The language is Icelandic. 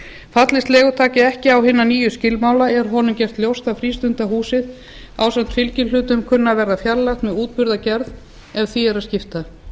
fallist leigutaki ekki á hina nýju skilmála er honum gert ljóst að frístundahúsið ásamt fylgihlutum kunni að verða fjarlægt með útburðargerð ef því er að skipta